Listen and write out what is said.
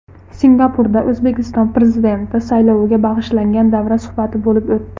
Singapurda O‘zbekiston Prezidenti sayloviga bag‘ishlangan davra suhbati bo‘lib o‘tdi.